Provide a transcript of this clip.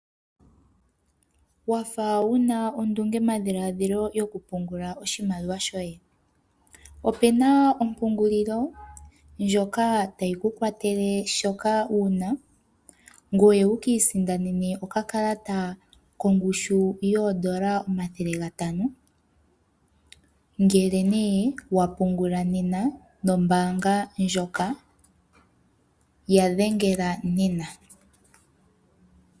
Wa fa wu na ondungedhiladhilo yokupungula oshimaliwa shoye? Opu na ompungulilo ndjoka tayi ku kwatele shoka wu na ngoye wu ka isindanene okakalata kongushu yoodola omathele gatano, ngele wa pungula nena nombaanga ndjoka. Ya dhengela nena.